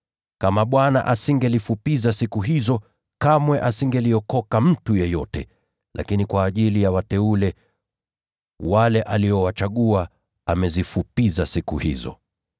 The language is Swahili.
Kama Bwana asingelifupisha siku hizo, kamwe asingeliokoka mtu yeyote. Lakini kwa ajili ya wateule, wale aliowachagua, amezifupisha siku hizo.